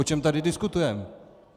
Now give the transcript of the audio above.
O čem tady diskutujeme?